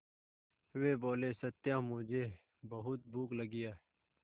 वे बोले सत्या मुझे बहुत भूख लगी है